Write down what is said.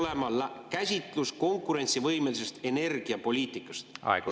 … siis valitsusel peaks olema käsitlus konkurentsivõimelisest energiapoliitikast.